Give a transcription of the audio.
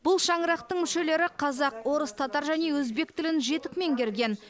бұл шаңырақтың мүшелері қазақ орыс татар және өзбек тілін жетік меңгерген